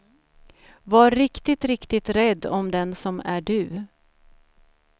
Var riktigt riktigt rädd om den som är du.